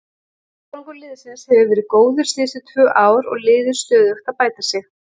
Árangur liðsins hefur verið góður síðustu tvö ár og liðið stöðugt að bæta sig.